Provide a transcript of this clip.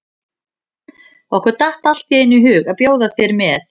Okkur datt allt í einu í hug að bjóða þér með.